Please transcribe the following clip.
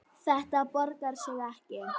Þetta borgar sig ekki.